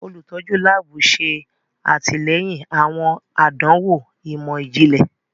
Olutọju laabu ṣe atilẹyin awọn àdánwò imọ-jinlẹ.